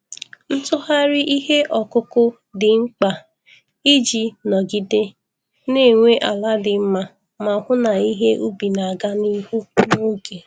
Ntugharị ihe ọkụkụ dị mkpa iji nọgide na-enwe ala dị mma ma hụ na ihe ubi na-aga n'ihu n'oge.